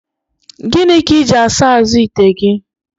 Gịnị ka iji asa azụ ite gị?